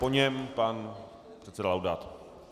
Po něm pan předseda Laudát.